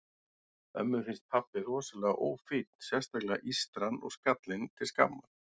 Ömmu finnst pabbi rosalega ófínn, sérstaklega ístran og skallinn til skammar.